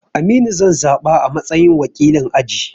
Aminu zan zaɓa a matsayin wakilin aji